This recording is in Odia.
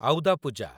ଆଉଦା ପୂଜା